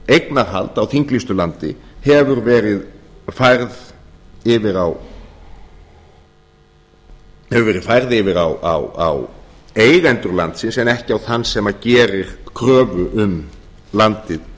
eignarhald á þinglýstu landi hefur verið færð yfir á eigendur landsins en ekki á þann sem gerir kröfur um landið